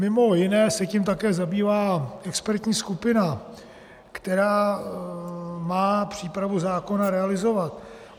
Mimo jiné se tím také zabývá expertní skupina, která má přípravu zákona realizovat.